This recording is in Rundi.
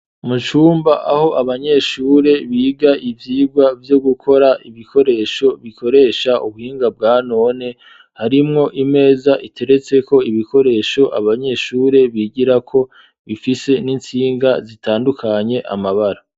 Mucumba aho abanyeshure biga ivyigwa vyo gukora ibikoresho bikoresha ubuhinga bwa none harimwo imeza iteretse ko ibikoresho abanyeshure bigira ko bifise n'insinga zitandukanye amabara.